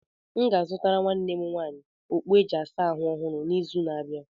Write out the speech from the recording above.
M ga-azụtara nwanne m nwaanyị okpu e ji asa ahụ ọhụrụ n'izu n'abịa.